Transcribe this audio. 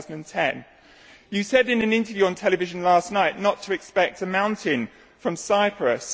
2010. You said in an interview on television last night not to expect a mountain from Cyprus.